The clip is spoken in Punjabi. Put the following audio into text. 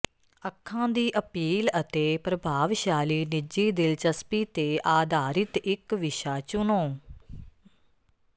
ਅੱਖਾਂ ਦੀ ਅਪੀਲ ਅਤੇ ਪ੍ਰਭਾਵਸ਼ਾਲੀ ਨਿੱਜੀ ਦਿਲਚਸਪੀ ਤੇ ਆਧਾਰਿਤ ਇੱਕ ਵਿਸ਼ਾ ਚੁਣੋ